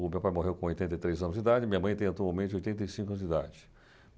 O meu pai morreu com oitenta e três anos de idade, minha mãe tem atualmente oitenta e cinco anos de idade.